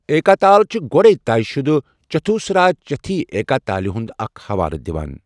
ایکا تال چھِ گۄڈے طے شُدٕ چتھوسرا جتھی ایکا تالہِ ہُنٛد اکھ حوالہٕ دِوان۔